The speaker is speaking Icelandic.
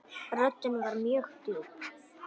Röddin var mjög djúp.